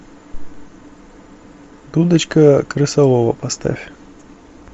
дудочка крысолова поставь